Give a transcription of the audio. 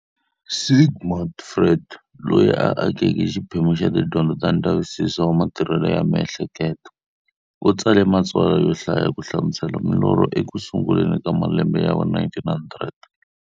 Sigmund Freud, loyi a akeke xiphemu xa tidyondzo ta ndzavisiso wa matirhele ya miehleketo, u tsale matsalwa yo hlaya ku hlamusela milorho eku sunguleni ka malembe ya va 1900.